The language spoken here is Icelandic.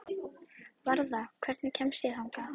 Varða, hvernig kemst ég þangað?